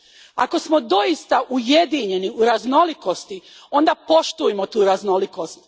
Ako smo doista Ujedinjeni u raznolikosti, onda poštujmo tu raznolikost.